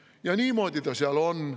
Ja niimoodi ta seal on.